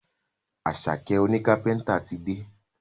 Asake òní kápẹ́ńtà tí dé.